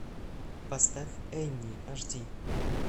поставь энни аш ди